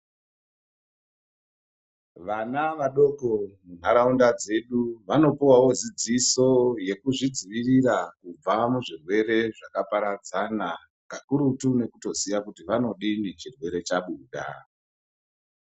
Vana vadoko munharaunda dzedu vanopuwawo dzidziso yekuzvidzivirira kubva muzvirwere zvakaparadzana kakurutu nekutoziva kuti vanodini chirwere chabuda.